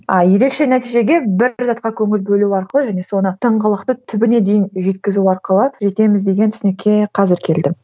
а ерекше нәтижеге бір затқа көңіл бөлу арқылы және соны тыңғылықты түбіне дейін жеткізу арқылы жетеміз деген түсінікке қазір келдім